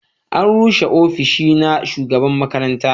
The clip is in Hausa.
an rushe ofis na shugaban makaranta